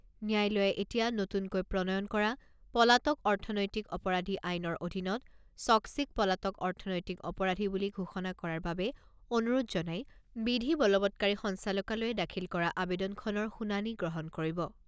ন্যায়ালয়ে এতিয়া নতুনকৈ প্ৰণয়ন কৰা পলাতক অৰ্থনৈতিক অপৰাধী আইনৰ অধীনত চক্সিক পলাতক অৰ্থনৈতিক অপৰাধী বুলি ঘোষণা কৰাৰ বাবে অনুৰোধ জনাই বিধি বলবৎকাৰী সঞ্চালকালয়ে দাখিল কৰা আবেদনখনৰ শুনানী গ্ৰহণ কৰিব।